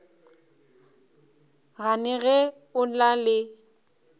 gane ge o na le